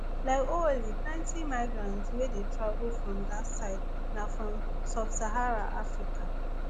like oualy plenty migrants wey dey travel from dat side na from subsahara africa